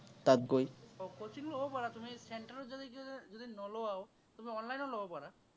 coaching লব পাৰা তুমি। centre ত যদি, যদি নোলোৱাও তুমি online ও লব পাৰা